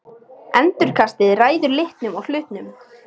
Endurkastið ræður litnum á hlutnum.